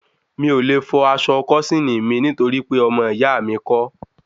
Mi ò le fọ aṣọ kósíìnì mi nítorí pé ọmọ ìyá mi kọ́